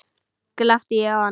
Glápti ég á hana?